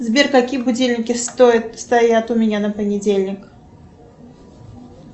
сбер какие будильники стоят у меня на понедельник